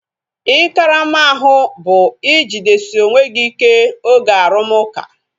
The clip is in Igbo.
Ị karama ahu bu ijidesi onwe gị ike oge arumuka